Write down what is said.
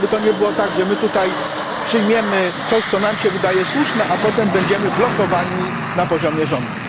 Żeby to nie było tak, że my tutaj przyjmiemy coś, co nam wydaje się słuszne, a potem będziemy blokowani na poziomie rządów.